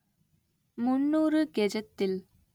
முந்நூறு கெஜத்தில்